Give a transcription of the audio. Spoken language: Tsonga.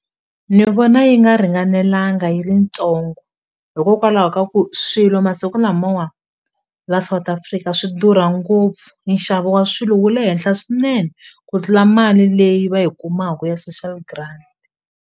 Ni vona yi nga ringanelanga yi ri ntsongo hikokwalaho ka ku swilo masiku lamawa la South Africa swi durha ngopfu nxavo wa swilo wu le henhla swinene ku tlula mali leyi va yi kumaku ya social grant.